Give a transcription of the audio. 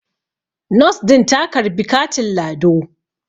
Nos din ta ka karbi katin lado